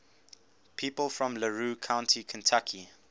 people from larue county kentucky